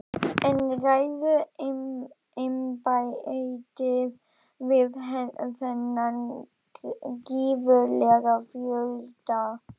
En ræður embættið við þennan gífurlega fjölda?